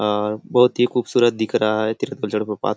अअअ बहुत ही खूबसूरत दिख रहा है तीरथगढ़ जलप्रपात --